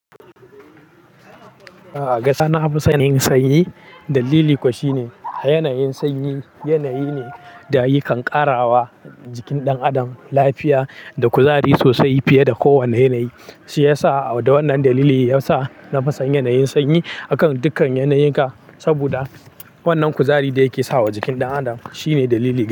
A'a gaskiya na son yanayin sanyi. Dalili kuwa shine a yanayin sanyi yanayi ne da ya yakan ƙarawa jikin ɗan adam lafiya da kuzari sosai fiye da kowanne yanayi. Shi yasa da wannan dalili yasa na fi son yanayin sanyi akan dukkan yanayayyi ka. Saboda wannan kuzari da yake sawa jikin ɗan adam shine dalili gaba ɗaya.